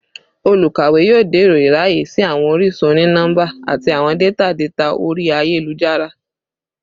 Olukawe yoo dẹrọ iraye si awọn orisun oni-nọmba ati awọn data data ori ayelujara